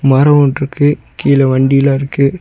மரோ ஒன்ருக்கு கீழ வண்டிலா இருக்கு.